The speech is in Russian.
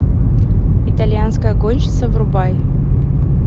итальянская гонщица врубай